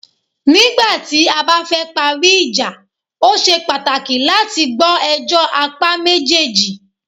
Nígbà tí a bá fẹ parí ìjà,o ṣe pàtàkì láti gbọ́ ẹjọ́ apá méjèèjì.